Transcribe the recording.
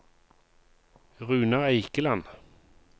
Runar Eikeland